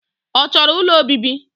Ọ chọrọ ụlọ obibi?